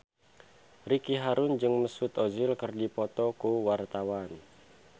Ricky Harun jeung Mesut Ozil keur dipoto ku wartawan